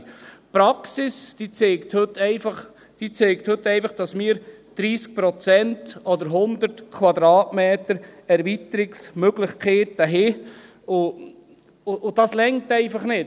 Die Praxis zeigt heute einfach, dass wir 30 Prozent oder 100 Quadratmeter Erweiterungsmöglichkeiten haben, und das reicht einfach nicht.